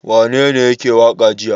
Wanene yake waƙa jiya?